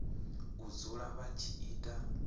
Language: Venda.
u dzula vha tshi ita